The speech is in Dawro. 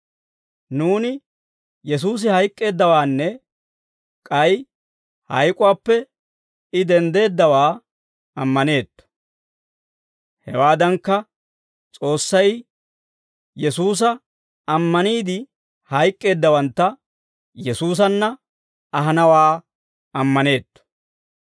Nuuni Yesuusi hayk'k'eeddawaanne k'ay hayk'uwaappe I denddeeddawaa ammaneetto; hewaadankka, S'oossay Yesuusa ammaniide hayk'k'eeddawantta Yesuusanna ahanawaa ammaneetto.